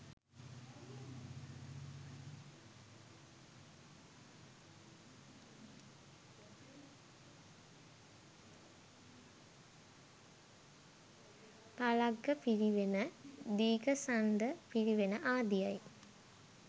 Phalagga Pirivena, Dighasanda Pirivena ආදියයි.